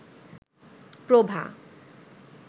প্রভা